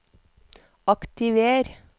aktiver